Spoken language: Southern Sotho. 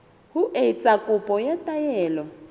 ho etsa kopo ya taelo